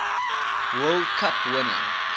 world cup winner